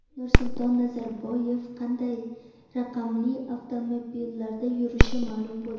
Nursulton Nazarboyev qanday raqamli avtomobillarda yurishi ma’lum bo‘ldi.